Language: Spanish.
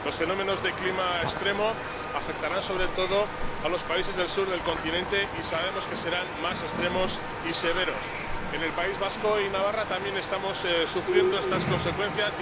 Los fenómenos de clima extremo afectarán sobre todo a los países del sur del continente, y sabemos que serán más extremos y severos. En el País Vasco y Navarra también estamos sufriendo estas consecuencias.